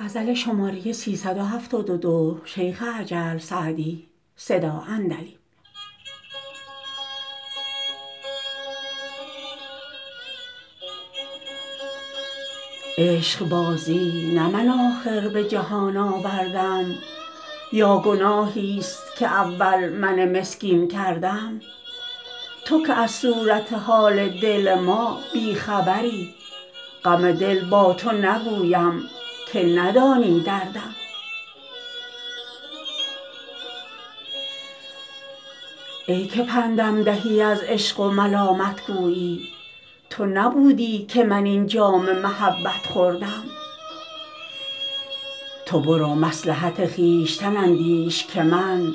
عشقبازی نه من آخر به جهان آوردم یا گناهیست که اول من مسکین کردم تو که از صورت حال دل ما بی خبری غم دل با تو نگویم که ندانی دردم ای که پندم دهی از عشق و ملامت گویی تو نبودی که من این جام محبت خوردم تو برو مصلحت خویشتن اندیش که من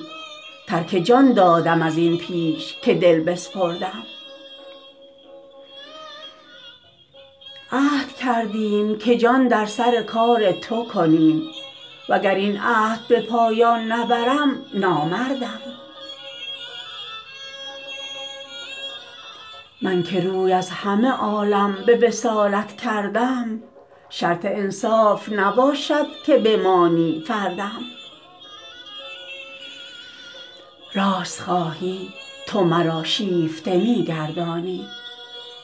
ترک جان دادم از این پیش که دل بسپردم عهد کردیم که جان در سر کار تو کنیم و گر این عهد به پایان نبرم نامردم من که روی از همه عالم به وصالت کردم شرط انصاف نباشد که بمانی فردم راست خواهی تو مرا شیفته می گردانی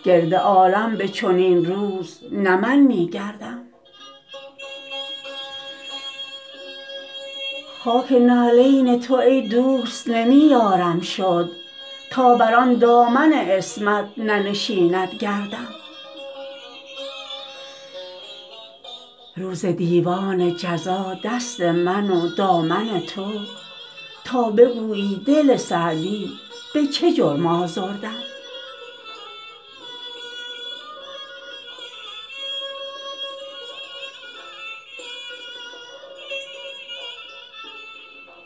گرد عالم به چنین روز نه من می گردم خاک نعلین تو ای دوست نمی یارم شد تا بر آن دامن عصمت ننشیند گردم روز دیوان جزا دست من و دامن تو تا بگویی دل سعدی به چه جرم آزردم